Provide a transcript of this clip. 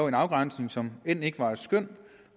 en afgrænsning som end ikke var et skøn